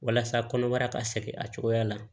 Walasa kɔnɔbara ka sɛgɛn a cogoya la